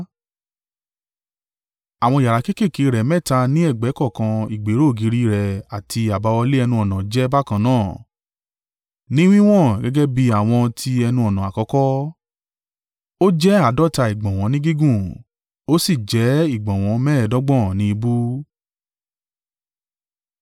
Àwọn yàrá kéékèèké rẹ̀ mẹ́ta ni ẹ̀gbẹ́ kọ̀ọ̀kan ìgbéró ògiri rẹ̀ àti àbáwọlé ẹnu-ọ̀nà jẹ́ bákan náà ni wíwọ̀n gẹ́gẹ́ bí àwọn tí ẹnu-ọ̀nà àkọ́kọ́. Ó jẹ́ àádọ́ta ìgbọ̀nwọ́ ni gígùn, ó sì jẹ́ ìgbọ̀nwọ́ mẹ́ẹ̀ẹ́dọ́gbọ̀n ni ìbú.